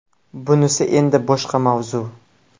Bunisi endi boshqa mavzu .